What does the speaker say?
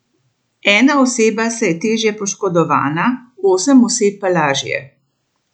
Ena oseba se je težje poškodovana, osem oseb pa lažje.